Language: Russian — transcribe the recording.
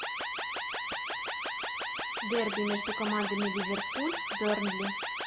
дерби между командами ливерпуль бернли